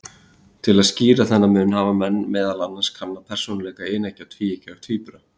Til að skýra þennan mun hafa menn meðal annars kannað persónuleika eineggja og tvíeggja tvíbura.